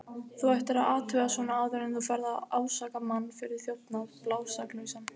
Þú ættir að athuga svona áður en þú ferð að ásaka mann fyrir þjófnað, blásaklausan.